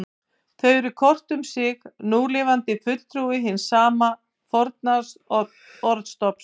Þau eru hvort um sig núlifandi fulltrúi hins sama forna orðstofns.